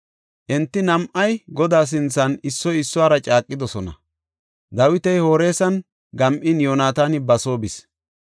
Enti nam7ay Godaa sinthan issoy issuwara caaqidosona; Dawiti Horesan gam7in Yoonataani ba soo bis.